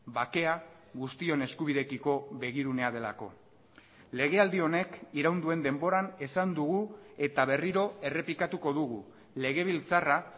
bakea guztion eskubideekiko begirunea delako legealdi honek iraun duen denboran esan dugu eta berriro errepikatuko dugu legebiltzarra